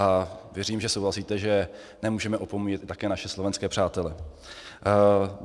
A věřím, že souhlasíte, že nemůžeme opomíjet také naše slovenské přátele.